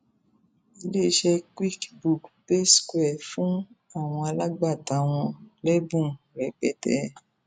iléeṣẹ quickbook paysquare fún àwọn alágbàtà wọn lẹbùn rẹpẹtẹ